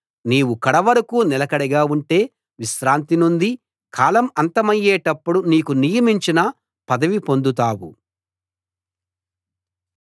నీవు కడవరకూ నిలకడగా ఉంటే విశ్రాంతి నొంది కాలం అంతమయ్యేటప్పుడు నీకు నియమించిన పదవి పొందుతావు